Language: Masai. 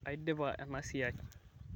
aidipa ena siai